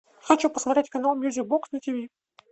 хочу посмотреть канал мьюзик бокс на тиви